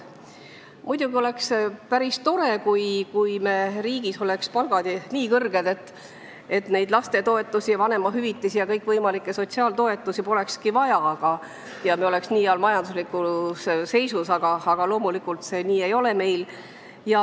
Muidugi oleks päris tore, kui meie riigis oleksid palgad nii kõrged, et lastetoetusi, vanemahüvitisi ja kõikvõimalikke sotsiaaltoetusi polekski vaja, kui me oleksime nii heas majanduslikus seisus, aga loomulikult see nii ei ole.